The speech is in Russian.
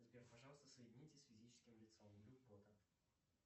сбер пожалуйста соедините с физическим лицом